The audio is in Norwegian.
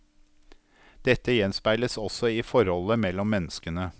Dette gjenspeiles også i forholdet mellom menneskene.